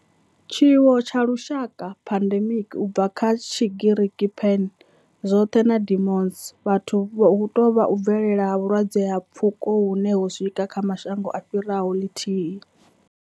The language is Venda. Tshiwo tsha lushaka, pandemic, u bva kha Tshigiriki pan, zwothe na demos, vhathu, hu tou vha u bvelela ha vhulwadze ha pfuko hune ho swika kha mashango a fhiraho lithihi.